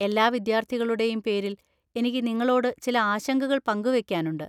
എല്ലാ വിദ്യാർത്ഥികളുടെയും പേരിൽ എനിക്ക് നിങ്ങളോട് ചില ആശങ്കകൾ പങ്കുവെയ്ക്കാനുണ്ട്.